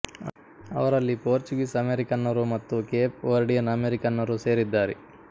ಅವರಲ್ಲಿ ಪೋರ್ಚುಗೀಸ್ ಅಮೆರಿಕನ್ನರು ಮತ್ತು ಕೇಪ್ ವರ್ಡಿಯನ್ ಅಮೆರಿಕನ್ನರು ಸೇರಿದ್ದಾರೆ